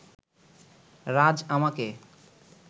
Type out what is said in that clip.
রাজ আমাকে